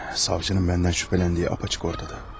Savçının məndən şübhələndiyi apaçıq ortada.